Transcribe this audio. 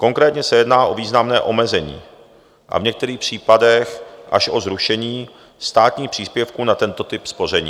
Konkrétně se jedná o významné omezení a v některých případech až o zrušení státních příspěvků na tento typ spoření.